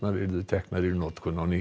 yrðu teknar í notkun á ný